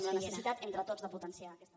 amb la necessitat entre tots de potenciar aquesta